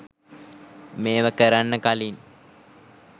මේව කරන්න කලින්